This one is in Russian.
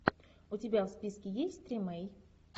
у тебя в списке есть тримей